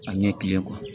A ɲɛ kelen kuwa